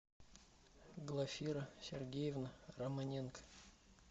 глафира сергеевна романенко